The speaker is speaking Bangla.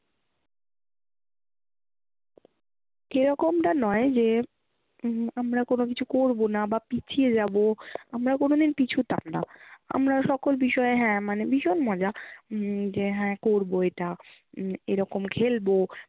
এরকমটা নয় যে উম আমরা কোনো কিছু করবো না বা পিছিয়ে যাবো। আমরা কোনো দিন পিছতাম না। আমরা সকল বিষয়ে হ্যাঁ মানে ভীষণ মজা উম যে হ্যাঁ করবো এটা হম এরকম খেলবো